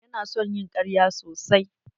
Ya na son ƴin ƙarya sosai.